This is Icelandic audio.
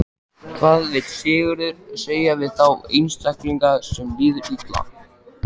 Hvað vill Sigurður segja við þá einstaklinga sem líður illa?